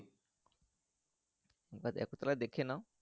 দেখেনও।